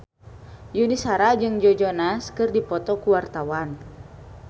Yuni Shara jeung Joe Jonas keur dipoto ku wartawan